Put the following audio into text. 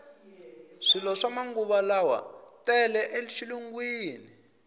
swilo swa manguvalawa tele e xilungwini